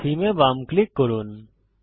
থেমে এ বাম ক্লিক করুন